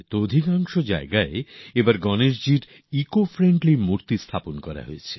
বেশিরভাগ জায়গাতে তো এবার পরিবেশবান্ধব গনেশজীর মূর্তি বসানো হয়